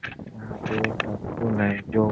यहां पर एक आपको --